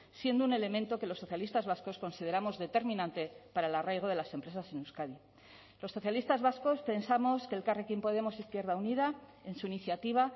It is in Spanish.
siendo un elemento que los socialistas vascos consideramos determinante para el arraigo de las empresas en euskadi los socialistas vascos pensamos que elkarrekin podemos izquierda unida en su iniciativa